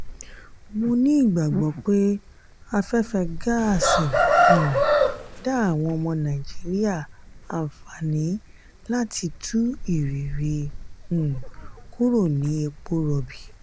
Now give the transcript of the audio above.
mó ní ìgbàgbọ́ pé afẹ́fẹ́ gaasi um dá àwọn nàìjíríà àǹfààní láti tú ìrìn rí um kúrò ní epo rọ̀bì